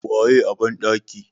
waye a bandaki?